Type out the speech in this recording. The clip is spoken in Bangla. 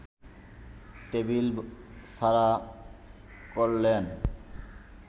টেবিল ছাড়া করলেন